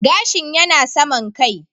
Gashin yana saman kai